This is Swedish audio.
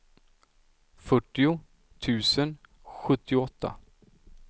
fyrtio tusen sjuttioåtta